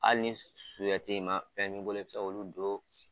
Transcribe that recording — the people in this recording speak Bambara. Hali ni suhɛti ma fɛn b'i bolo, i bɛ se ka olu don